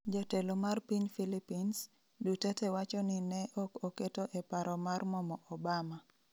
Jatelo mar piny Philippines, Duterte wacho ni ne ok oketo e paro mar momo Obama